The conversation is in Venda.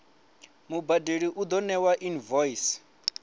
mubadeli u ḓo ṋewa invoice